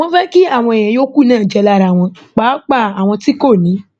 wọn fẹ kí àwọn èèyàn yòókù náà jẹ lára wọn pàápàá àwọn tí kò ní